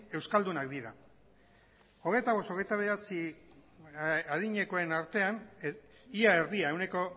euskaldunak dira hogeita bost hogeita bederatzi adinekoen artean ia erdia ehuneko